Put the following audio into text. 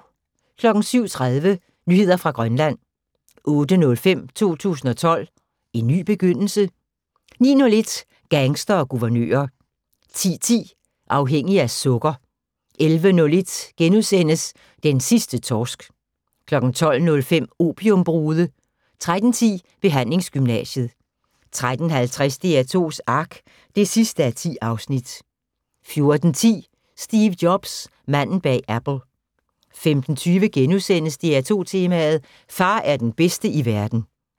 07:30: Nyheder fra Grønland 08:05: 2012: en ny begyndelse? 09:01: Gangstere og guvernører 10:10: Afhængig af sukker 11:01: Den sidste torsk * 12:05: Opiumbrude 13:10: Behandlingsgymnasiet 13:50: DR2s Ark (10:10) 14:10: Steve Jobs – manden bag Apple 15:20: DR2 Tema: Far er den bedste i verden *